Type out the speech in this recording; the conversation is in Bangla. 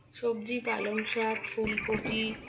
সবজি পালং শাক ফুলকপি